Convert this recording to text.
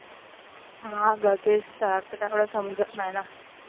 हा. समजत नाही ना.